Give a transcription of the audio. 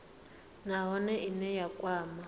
nha nahone ine ya kwama